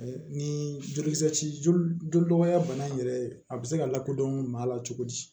Ni joli ci joli joli bɔya bana in yɛrɛ a bi se ka lakodɔn maa la cogo di